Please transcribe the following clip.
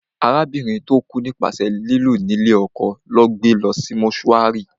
Arábìnrin tó kú nípasẹ̀ lílù ní lé ọkọ lọ́ gbé lọ sí mọ́túárì